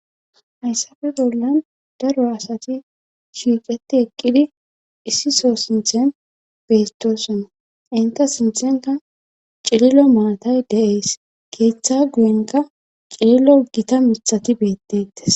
hayssafe bollan daro asati shiiqeti eqqidi issiso sinthen bettosonna inta sinthenka cililo maatay de7ees keeththa guyenka cililo gita mithati beettettes